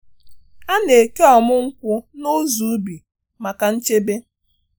A na-eke ọmụ nkwụ n’ụzọ ubi maka nchebe.